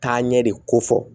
Taaɲɛ de ko fɔ